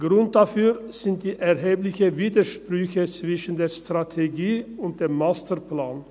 Grund dafür sind die erheblichen Widersprüche zwischen der Strategie und dem Masterplan.